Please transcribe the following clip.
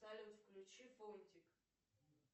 салют включи фунтик